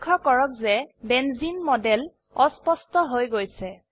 লক্ষ্য কৰক যে বেঞ্জিন মডেল অস্পষ্ট হৈ গৈছে